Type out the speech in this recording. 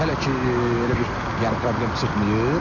Hələ ki elə bir yəni problem çıxmayıb.